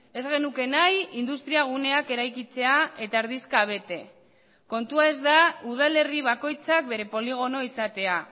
ez genuke nahi industria guneak eraikitzea eta erdizka bete kontua ez da udalerri bakoitzak bere poligono izatea